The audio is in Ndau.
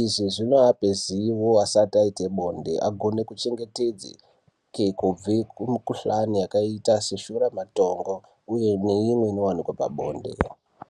Izvi zvinoape zivo asati aite bonde akone kuchengetedzeke kubve kumukhuhlani yakaita seshuramatongo, uye neimwe inowanika pabonde.